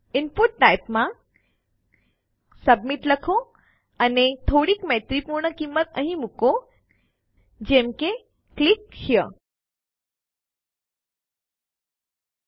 input type માં submit લખો અને થોડીક મૈત્રીપૂર્ણ કિંમત અહી મુકો જેમ કે ક્લિક હેરે